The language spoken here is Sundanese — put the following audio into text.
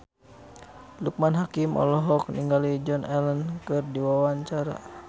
Loekman Hakim olohok ningali Joan Allen keur diwawancara